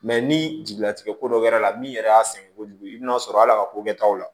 ni jigilatigɛ ko dɔ kɛra la min yɛrɛ y'a sɛgɛn kojugu i bɛn'a sɔrɔ hal'a ka ko bɛɛ taw la